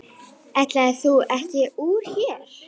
Ætlaðir þú ekki úr hér?